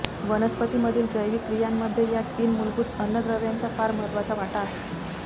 वनस्पती मधील जैविक क्रियांमध्ये या तीन मूलभूत अन्नद्रव्यांचा फार महत्त्वाचा वाटा आहे